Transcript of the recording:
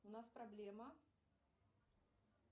у нас проблема